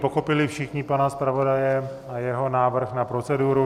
Pochopili všichni pana zpravodaje a jeho návrh na proceduru?